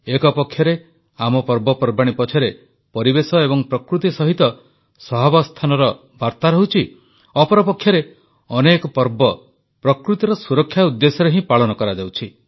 ଏକପକ୍ଷରେ ଆମ ପର୍ବପର୍ବାଣୀ ପଛରେ ପରିବେଶ ଏବଂ ପ୍ରକୃତି ସହିତ ସହାବସ୍ଥାନର ବାର୍ତ୍ତା ରହୁଛି ଅପରପକ୍ଷରେ ଅନେକ ପର୍ବ ପ୍ରକୃତିର ସୁରକ୍ଷା ଉଦ୍ଦେଶ୍ୟରେ ହିଁ ପାଳନ କରାଯାଉଛି